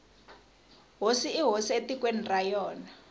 hosi i hosi etikweni ra yona